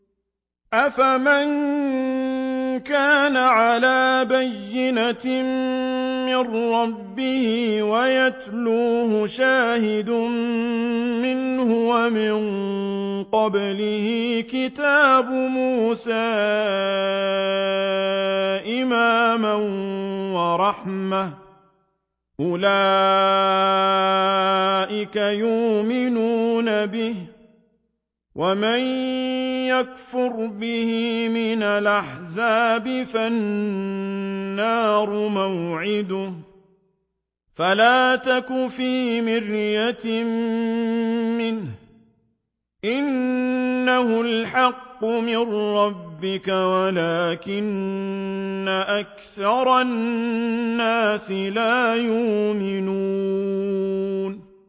أَفَمَن كَانَ عَلَىٰ بَيِّنَةٍ مِّن رَّبِّهِ وَيَتْلُوهُ شَاهِدٌ مِّنْهُ وَمِن قَبْلِهِ كِتَابُ مُوسَىٰ إِمَامًا وَرَحْمَةً ۚ أُولَٰئِكَ يُؤْمِنُونَ بِهِ ۚ وَمَن يَكْفُرْ بِهِ مِنَ الْأَحْزَابِ فَالنَّارُ مَوْعِدُهُ ۚ فَلَا تَكُ فِي مِرْيَةٍ مِّنْهُ ۚ إِنَّهُ الْحَقُّ مِن رَّبِّكَ وَلَٰكِنَّ أَكْثَرَ النَّاسِ لَا يُؤْمِنُونَ